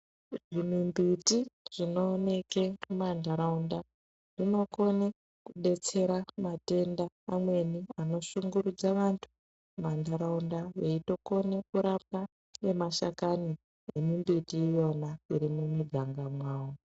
Mumimbiti dzinoonekwa mumandaraunda dzinokona kudetsera matenda amweni anoshungurudza antu mumandaraunda veitokona ngemashakani emimbjti iyona iri mumaganga mawo.